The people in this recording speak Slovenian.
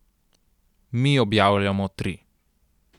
Mi objavljamo tri.